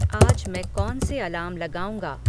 आज मैं कौन से अलार्म लगाऊँगा